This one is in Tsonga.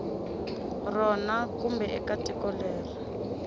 rona kumbe eka tiko leri